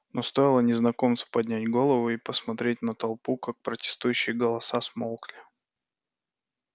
но стоило незнакомцу поднять голову и посмотреть на толпу как протестующие голоса смолкли